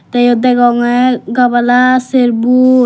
tey iyot degongey gabala ser bu.